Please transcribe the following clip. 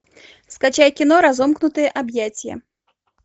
скачай кино разомкнутые объятия